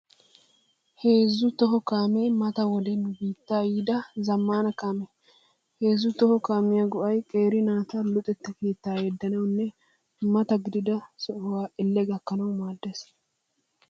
Heezzu toho kaamee mata wode nu biittaa yiida zammaana kaamee. Heezzu kaamiya go'ay qeeri naata luxetta keettaa yeeddanawunne mata gididasaa Elle gakkanawu maaddees.